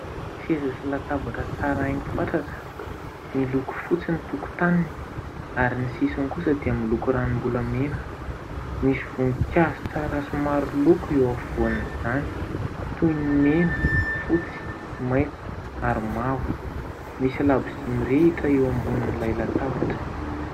Seza sy latabatra tsara haingo fatratra. Miloko fotsy ny tokotaniny ary ny sisiny kosa dia miloko ranombolamena. Misy voninkazo tsara sy maro loko eo afovoan'izany toy ny mena, fotsy, maitso ary mavo. Misy labozia mirehitra eo ambonin'ilay latabatra.